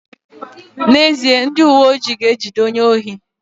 N'ezie, ndị uweojii ga-ejide onye ohi